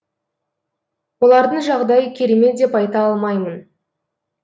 олардың жағдайы керемет деп айта алмаймын